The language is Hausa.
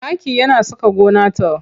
Taki yana saka gona ta